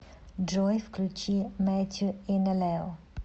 джой включи мэтью инелео